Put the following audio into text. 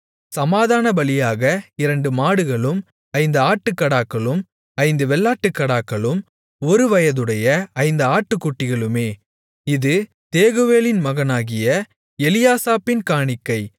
சமாதானபலியாக இரண்டு மாடுகளும் ஐந்து ஆட்டுக்கடாக்களும் ஐந்து வெள்ளாட்டுக்கடாக்களும் ஒருவயதுடைய ஐந்து ஆட்டுக்குட்டிகளுமே இது தேகுவேலின் மகனாகிய எலியாசாபின் காணிக்கை